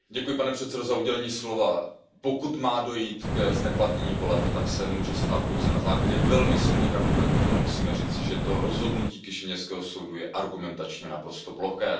Pane předsedající, pokud má dojít k zneplatnění voleb, tak se tak může stát pouze na základě velmi silných argumentů a musíme říci, že to rozhodnutí kišiněvského soudu je argumentačně naprosto ploché.